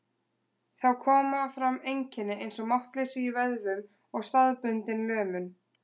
Þá koma fram einkenni eins og máttleysi í vöðvum og staðbundin lömun.